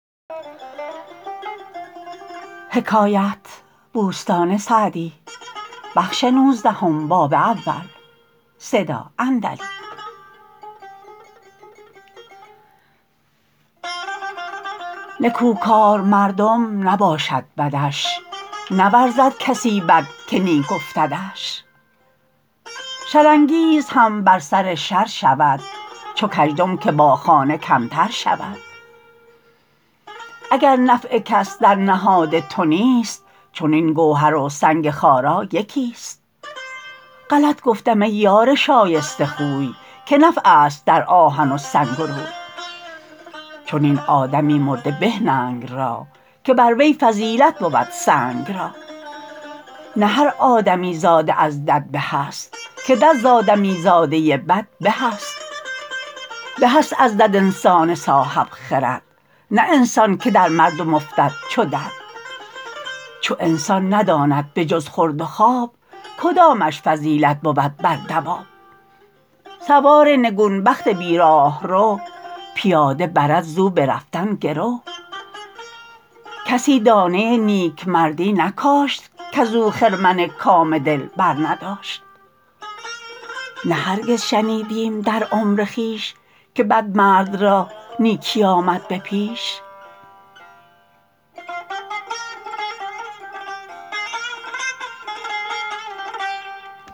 نکوکار مردم نباشد بدش نورزد کسی بد که نیک افتدش شر انگیز هم بر سر شر شود چو کژدم که با خانه کمتر شود اگر نفع کس در نهاد تو نیست چنین گوهر و سنگ خارا یکی است غلط گفتم ای یار شایسته خوی که نفع است در آهن و سنگ و روی چنین آدمی مرده به ننگ را که بر وی فضیلت بود سنگ را نه هر آدمی زاده از دد به است که دد ز آدمی زاده بد به است به است از دد انسان صاحب خرد نه انسان که در مردم افتد چو دد چو انسان نداند به جز خورد و خواب کدامش فضیلت بود بر دواب سوار نگون بخت بی راهرو پیاده برد ز او به رفتن گرو کسی دانه نیکمردی نکاشت کز او خرمن کام دل برنداشت نه هرگز شنیدیم در عمر خویش که بدمرد را نیکی آمد به پیش